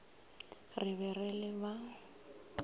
re be re le ba